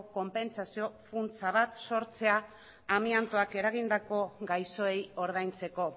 konpentsazio funtsa bat sortzea amiantoak eragindako gaixoei ordaintzeko